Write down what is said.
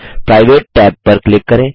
private tab पर click करें